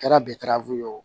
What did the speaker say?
Kɛra betaraw ye o